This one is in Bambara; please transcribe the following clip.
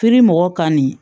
mɔgɔw kani